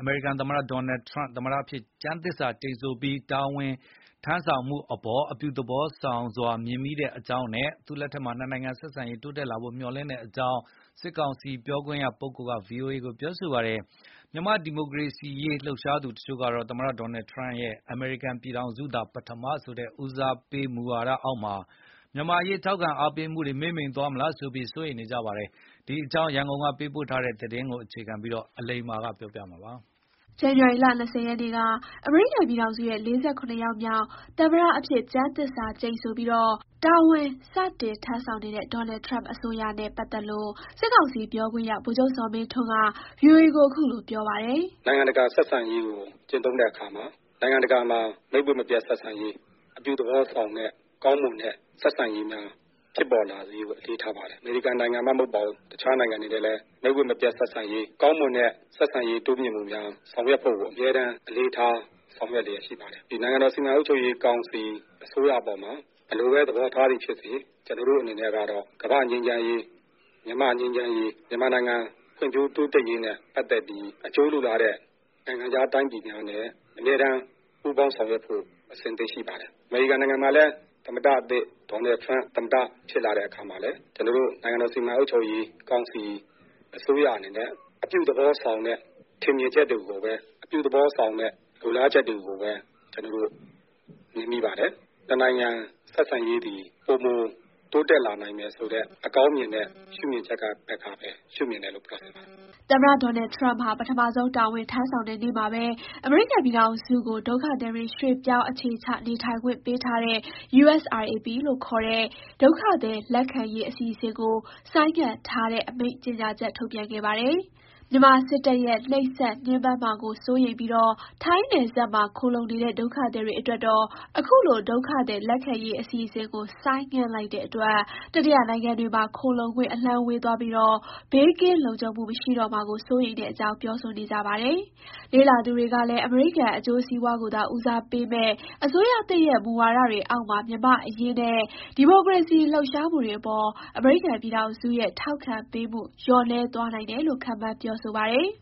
အမေရိကန်သမ္မတ Donald Trump သမ္မတအဖြစ် ကျမ်းသစ္စာကျိန်ဆိုပြီး တာဝန်ထမ်းဆောင်မှုအပေါ် အပြုသဘောဆောင်စွာ မြင်မိတဲ့အကြောင်းနဲ့ သူ့လက်ထက်မှာ နှစ်နိုင်ငံ ဆက်ဆံရေး တိုးတက်လာဖို့ မျှော်လင့်တဲ့အကြောင်း စစ်ကောင်စီ ပြောခွင့်ရက VOA ကို ပြောပါတယ်။ မြန်မာ့ဒီမိုကရေစီရေး လှုပ်ရှားသူတချို့ကတော့ သမ္မတ Donald Trump ရဲ့ "အမေရိကန်ပြည်ထောင်စုသာ ပထမ" ဆိုတဲ့ ဦးစားပေးတဲ့ မူဝါဒအောက်မှာ မြန်မာ့အရေး ထောက်ခံအားပေးမှု မှေးမှိန်သွားမလားဆိုပြီး စိုးရိမ်နေကြပါတယ်။ ဒီအကြောင်း ရန်ကုန်ကပေးပို့ထားပါတယ်။ ဇန်နဝါရီလ ၂၀ ရက်နေ့က အမေရိကန်ပြည်ထောင်စုရဲ့ ၄၇ ယောက်မြောက် သမ္မတအဖြစ် ကျမ်းသစ္စာကျိန်ဆိုပြီး တာဝန်စတင် ထမ်းဆောင်နေတဲ့ Donald Trump အစိုးရနဲ့ပတ်သက်လို့ စစ်ကောင်စီ ပြောခွင့်ရ ဗိုလ်ချုပ်ဇော်မင်းထွန်းက VOA ကို အခုလို ပြောပါတယ်။ "နိုင်ငံတကာဆက်ဆံရေးကို ကျင့်သုံးတဲ့အခါမှာ နိုင်ငံတကာမှာ မိတ်ဝတ်မပျက်ဆက်ဆံရေး၊ အပြုသဘောဆောင်တဲ့ ကောင်းမွန်တဲ့ ဆက်ဆံရေးများဖြစ်လာဖို့ အလေးထားပါတယ်။ အမေရိကန်နိုင်ငံမှမဟုတ်ဘူး၊ တခြားနိုင်ငံတွေနဲ့လည်း မိတ်ဝတ်မပျက်ဆက်ဆံရေး၊ ကောင်းမွန်တဲ့ဆက်ဆံရေးတိုးမြင့်မှုများ ဆောင်ရွက်ဖို့ကိုအမြဲတမ်း အလေးထား ဆောင်ရွက်လျက် ရှိပါတယ်။ နိုင်ငံတော်စီမံအုပ်ချုပ်ရေးကောင်စီ အစိုးရအပေါ်မှာ ဘယ်လိုဘဲ သဘောထားသည်ဖြစ်စေ၊ ကျနော်တို့အနေနဲ့ကတော့ ကမ္ဘာ့ငြိမ်းချမ်းရေး၊ မြန်မာ့ငြိမ်းချမ်းရေး၊ မြန်မာနိုင်ငံ ဖွံ့ဖြိုးတိုးတက်ရေးနဲ့ပတ်သက်ပြီး အကျိုးလိုလားတဲ့ နိုင်ငံခြားတိုင်းပြည်များနဲ့ အမြဲတမ်းပူးပေါင်းဆောင်ရွက်ဖို့ အဆင်သင့် ရှိပါတယ်။ အမေရိကန်နိုင်ငံမှာလည်း သမ္မတသစ် Donald Trump သမ္မတဖြစ်လာတဲ့အခါမှာလည်း ကျနော်တို့ နိုင်ငံတော်စီမံအုပ်ချုပ်ရေးကောင်စီ အစိုးရအနေနဲ့ အပြုသဘောဆောင်တဲ့ ထင်မြင်ချက်တွေကိုပဲ၊ အပြုသဘောဆောင်တဲ့ လိုလားချက်တွေကိုပဲ ကျနော်တို့ မြင်မိပါတယ်။ နှစ်နိုင်ငံဆက်ဆံရေးသည် ပိုမို တိုးတက်လာနိုင်မယ်ဆိုတဲ့ အကောင်းမြင်တဲ့ ရှုမြင်ချက်ကနေပြီး ရှုမြင်တယ်လို့ ပြောချင်ပါတယ်။" သမ္မတ Donald Trump ဟာ ပထမဆုံး တာဝန်ထမ်းဆောင်တဲ့နေ့မှာပဲ အမေရိကန်ပြည်ထောင်စုကို ဒုက္ခသည်တွေ ရွှေ့ပြောင်းအခြေချနေထိုင်ခွင့်ပေးထားတဲ့ USRAP ခေါ် ဒုက္ခသည် လက်ခံရေး အစီအစဉ်ကို ဆိုင်းငံ့ထားတဲ့ အမိန့်ကြေညာချက် ထုတ်ပြန်ခဲ့ပါတယ်။ မြန်မာစစ်တပ်ရဲ့ နှိပ်စက်ညှဉ်းပန်းမှာကို စိုးရိမ်ပြီး ထိုင်းနယ်စပ်မှာ ခိုလှုံနေတဲ့ ဒုက္ခသည်တွေအတွက်တော့ အခုလို ဒုက္ခသည်လက်ခံရေး အစီစဉ်ကို ဆိုင်းငံ့လိုက်တဲ့အတွက် တတိယနိုင်ငံတွေမှာ ခိုလှုံခွင့် အလှမ်းဝေးသွားပြီး ဘေးကင်းလုံခြုံမှာ မရှိတော့မှာကို စိုးရိမ်တဲ့အကြောင်း ပြောဆိုနေကြပါတယ်။ လေ့လာသူတွေကလည်း အမေရိကန် အကျိုးစီးပွားကိုသာ ဦးစားပေးမယ့် အစိုးရသစ်ရဲ့ မူဝါဒတွေအောက်မှာ မြန်မာ့အရေးနဲ့ ဒီမိုကရေစီလှုပ်ရှားမှုတွေအပေါ် အမေရိကန်ပြည်ထောင်စုရဲ့ ထောက်ခံပေးမှုလျော့နည်းသွားနိုင်တယ်လို့ ခန့်မှန်းပြောဆိုပါတယ်။